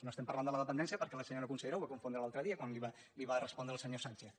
no estem parlant de la dependència per·què la senyora consellera ho va confondre l’altre dia quan li va respondre al senyor sánchez